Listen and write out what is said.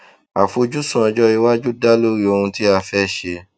àfojúsùn ọjọ iwájú dá lórí ohun tí a fẹ ṣe